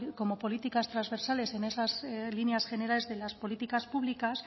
como políticas transversales en esas líneas generales de las políticas públicas